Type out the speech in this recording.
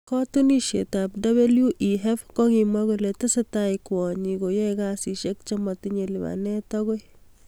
Kotuyet ab WEF kokimwa kole tesetai kwonyik koyae kasishek chematinye lipanet akoi.